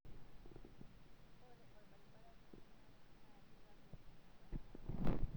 Ore orbarbara toronok na kitagol enapata